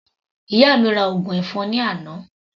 Ìyá mi ra ògùn ẹ̀fọn ní àná.